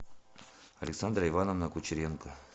александра ивановна кучеренко